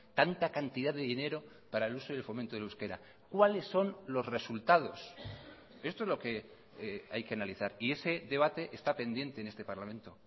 tanta cantidad de dinero para el uso y el fomento del euskera cuáles son los resultados esto es lo que hay que analizar y ese debate está pendiente en este parlamento